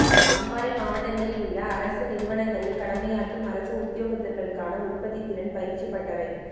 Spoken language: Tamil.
அம்பாறை மாவட்டங்களிலுள்ள அரச நிறுவனங்களில் கடமையாற்றும் அரச உத்தியோகத்தர்களுக்கான உற்பத்தித்திறன் பயிற்சி பட்டறை